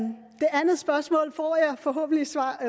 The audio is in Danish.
andet spørgsmål får jeg forhåbentlig